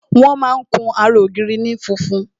Wọn máa kun ara ògiri ní funfun